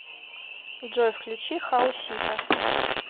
джой включи хаосита